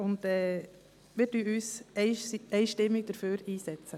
Wir setzen uns einstimmig dafür ein.